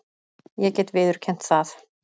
Ég get viðurkennt það.